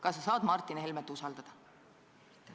Kas sa saad Martin Helmet usaldada?